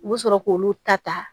U bɛ sɔrɔ k'olu ta ta